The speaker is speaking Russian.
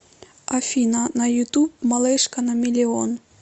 афина на ютуб малышка на миллион